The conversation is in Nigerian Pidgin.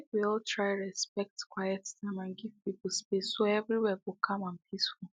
make we all try respect quiet time and give people space so everywhere go calm and peaceful